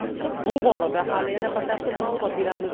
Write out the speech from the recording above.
Bu borada hali yana batafsil ma’lumot beramiz.